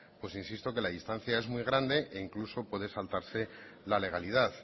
pues insisto que la distancia es muy grande e incluso puede saltarse la legalidad